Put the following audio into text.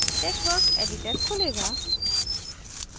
texworks editor खुलेगा